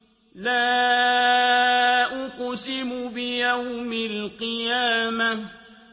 لَا أُقْسِمُ بِيَوْمِ الْقِيَامَةِ